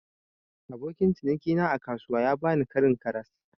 Abokin ciniki na a kasuwa ya bani Karin karas.